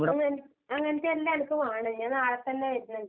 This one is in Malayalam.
ഞാൻ വര്ണ്ട്, അങ്ങനത്തെയെല്ലാം എനക്ക് വേണം, ഞാൻ നാളെത്തന്നെ വര്ന്ന്ണ്ട്.